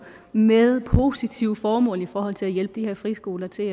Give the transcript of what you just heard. med positive formål i forhold til at hjælpe de her friskoler til